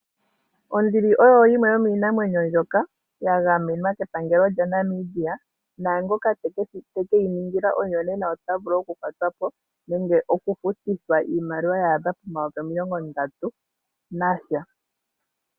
Onduli oyo yimwe yo miinamwenyo mbyoka ya gamenwa kepangelo lya Namibia, nangooka te ke yi ningila omuyonena ota vulu oku kwatwa po nenge okufutithwa iimaliwa ya adha pomayovi omilongo ndatu nasha.